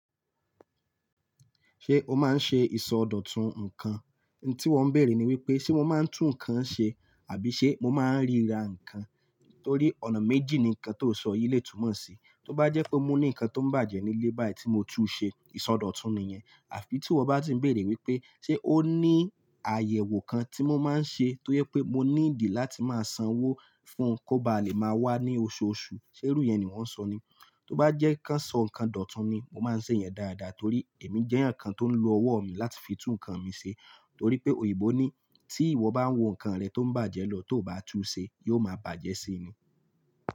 Ṣé o máa ń ṣe ìsọdọ̀tun nǹkan? Ohun tí wọ́n bèèrè ni wípé ṣe mo máa ń tún nǹkan ṣe àbí ṣe mo máa ń ríra nǹkan? Torí ọ̀nà méjì ni nǹkan tó sọ yìí lè túnmọ̀ sí. Tí ó bá jẹ́ pé mo ní nǹkan tó ń bàjẹ́ nílé báyìí tí mo tú ṣe, ìsọdọ̀tun ni yẹn. Àfi tí ìwọ bá ti ń bèèrè wípé ṣe ó ní àyẹ̀wò kan tí mo máa ń ṣe toye pé mo ní need láti máa sanwó fún un kó ba lè máa wá ní oṣooṣù. Ṣé irú yẹn ni wọ́n sọ ni? Tí ó bá jẹ́ kí a sọ nǹkan dòtun ni, mo máa ń ṣe èèyàn dáadáa torí èmi jẹ́ eyan kan tó ń lo ọwọ́ mi láti fi tú nǹkan mi ṣe. Torí pé òyìnbó ní tí ìwọ bá ń wo nǹkan rẹ tó ń bàjẹ́ lọ tí o bá tú u ṣe, yóò máa bàjẹ́ síi ni.